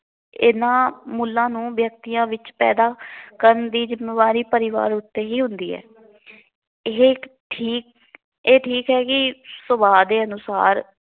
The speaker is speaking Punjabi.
ਇਹਨਾਂ ਮੁੱਲ਼ਾਂ ਨੂੰ ਵਿਅਕਤੀਆਂ ਵਿੱਚ ਪੈਂਦਾ ਕਰਨ ਦੀ ਜਿੰਮੇਵਾਰੀ ਪਰਿਵਾਰ ਉੱਤੇ ਹੀ ਹੁੰਦੀ ਹੈ। ਇਹ ਇੱਕ ਠੀਕ ਇਹ ਠੀਕ ਹੈ ਕਿ ਸੁਭਾਅ ਦੇ ਅਨੁਸਾਰ